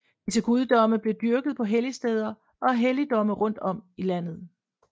Disse guddomme blev dyrket på helligsteder og i helligdomme rundt om i landet